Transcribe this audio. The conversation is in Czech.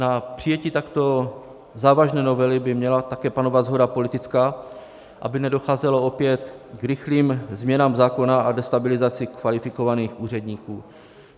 Na přijetí takto závažné novely by měla také panovat shoda politická, aby nedocházelo opět k rychlým změnám zákona a destabilizaci kvalifikovaných úředníků.